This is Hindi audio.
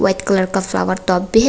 व्हाइट कलर का फ्लावर टॉप भी है।